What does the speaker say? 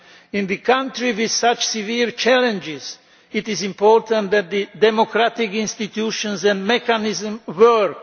In a country with such severe challenges, it is important that the democratic institutions and mechanism work.